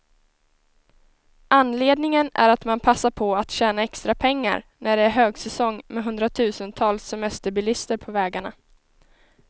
Anledningen är att man passar på att tjäna extra pengar, när det är högsäsong med hundratusentals semesterbilister på vägarna.